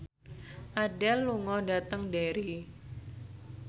Adele lunga dhateng Derry